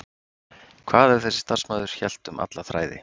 Hvað ef þessi starfsmaður hélt um alla þræði?